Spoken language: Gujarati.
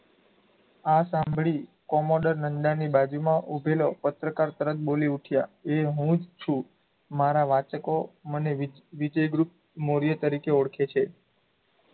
આ સાંભળી કોમોડર નંડાની બાજુમાં ઉભેલો પત્રકાર તરત બોલી ઊઠયાં એ હું જ છું મારાં વાંચકો મને વિજય ગુપ્ત મોર્ય તરોકે ઓળખે છે.